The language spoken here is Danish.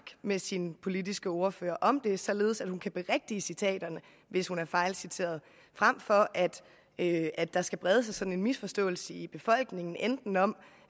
med sit politiske ordfører om det således at hun kan berigtige citaterne hvis hun er fejlciteret frem for at at der skal brede sig sådan en misforståelse i befolkningen enten om